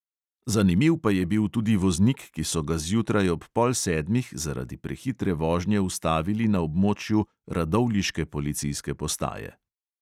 Zanimiv pa je bil tudi voznik, ki so ga zjutraj ob pol sedmih zaradi prehitre vožnje ustavili na območju radovljiške policijske postaje.